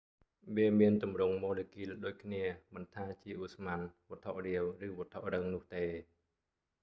វាមានទម្រង់ម៉ូលេគុលដូចគ្នា មិនថាជាឧស្ម័ន វត្ថុរាវ ឬវត្ថុរឹងនោះទេ